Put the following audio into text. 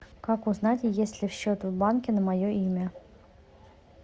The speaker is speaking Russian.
как узнать есть ли счет в банке на мое имя